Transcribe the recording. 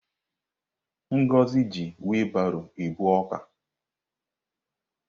Ngozi ji wilbaro ebu ọka.